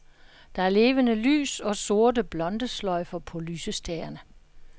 Der er levende lys og sorte blondesløjfer på lysestagerne.